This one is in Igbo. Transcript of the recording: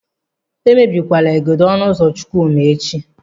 Emebikwala igodo ọnụ ụzọ Chukwuma echi.